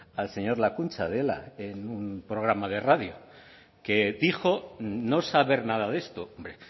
al señor lakuntza de ela en un programa de radio que dijo no saber nada de esto hombre